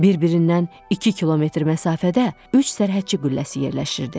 Bir-birindən iki kilometr məsafədə üç sərhədçi qülləsi yerləşirdi.